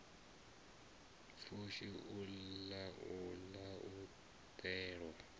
pfushi u laula u ḓelwa